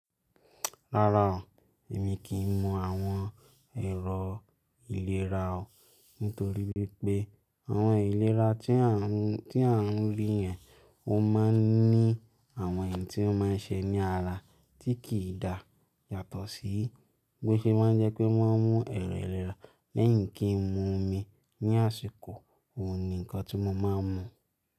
Rárá o, èmi kì í mu àwọn ẹ̀rọ ìlera o. Nítorí wípé àwọn ìlera tí à ń rí yẹn ó máa ń ní àwọn iń tí ó máa ń ṣe ní ara tí kì í dà yàtọ̀ sí. Bó ṣe máa ń jẹ́ pé wọ́n mú ẹ̀rọ ìlera lẹ́yìn kí n mu omi ní àsìkò, òun ni nǹkan tí mo máa ń mu.